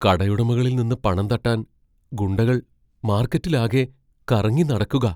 കടയുടമകളിൽ നിന്ന് പണം തട്ടാൻ ഗുണ്ടകൾ മാർക്കറ്റിലാകെ കറങ്ങിനടക്കുകാ.